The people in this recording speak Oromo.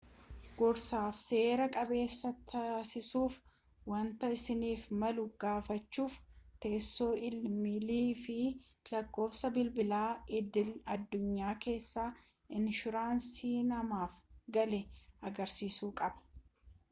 gorsaaf/seera-qabeessa taasisuudhaafi wanta isaaniif malu gaafachuudhaaf teessoo ii-meeyilii fi lakkoofsa bilbilaa idil-addunyaa isa inshuraansii namaaf galee agarsiisuu qabu